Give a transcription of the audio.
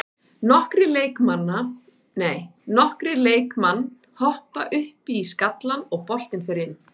Nokkrir leikmann hoppa upp í skallann og boltinn fer inn.